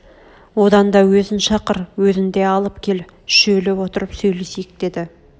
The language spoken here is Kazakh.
одан да өзін шақыр өзін де алып кел үшеулеп отырып сөйлесейік деді